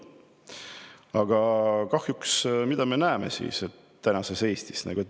Aga mida me näeme tänases Eestis?